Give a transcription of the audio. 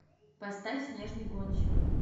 поставь снежный гонщик